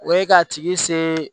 O ye k'a tigi se